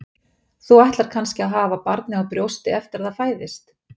Þú ætlar kannski að hafa barnið á brjósti eftir að það fæðist?